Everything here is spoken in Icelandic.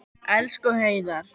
Elsku Heiðar.